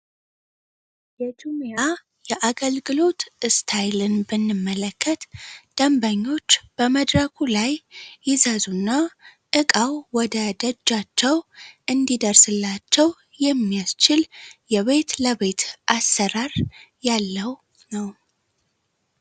የጁሚያ የአገልግሎት እስታይልን ብንመለከት ደንበኞች በመድራኩ ላይ ይዘዙና ዕቃው ወደ ደጃቸው እንዲደርስላቸው የሚያስችል የቤት ለቤት አሰራር ያለው ነው።